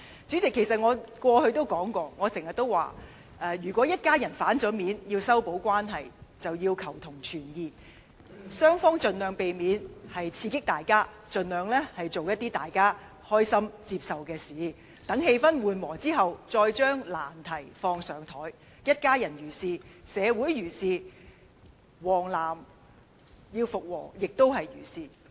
主席，我過去經常說，如果一家人翻臉後要修補關係，雙方便要求同存異，盡量避免刺激對方，盡量做一些大家開心和接受的事情，待氣氛緩和後，再將難題提出來；一家人如是，社會如是，"黃絲帶"與"藍絲帶"復和也如是。